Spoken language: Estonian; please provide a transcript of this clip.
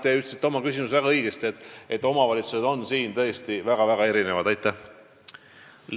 Te ütlesite oma küsimust esitades väga õigesti, et omavalitsused on väga erinevad, ja seda nad on ka selles mõttes.